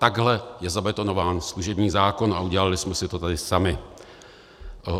Takhle je zabetonován služební zákon a udělali jsme si to tady sami.